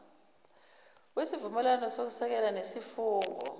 wesivumelwane sokweseka nesifungo